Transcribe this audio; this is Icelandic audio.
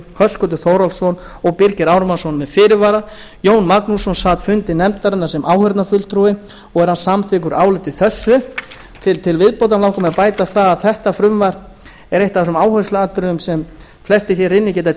höskuldur þórhallsson og birgir ármannsson með fyrirvara jón magnússon sat fundi nefndarinnar sem áheyrnarfulltrúi og er hann samþykkur áliti þessu til viðbótar langar mig að bæta við að þetta frumvarp er eitt af þessum áhersluatriðum sem flestir hér inni geta